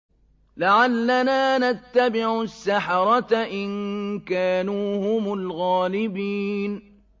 لَعَلَّنَا نَتَّبِعُ السَّحَرَةَ إِن كَانُوا هُمُ الْغَالِبِينَ